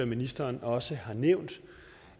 ministeren også har nævnt